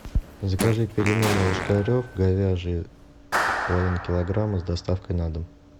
закажи пельмени ложкарев говяжьи половина килограмма с доставкой на дом